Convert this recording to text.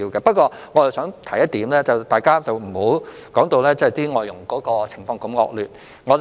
不過，我想提出一點，大家不要把外傭的情況說得這麼惡劣。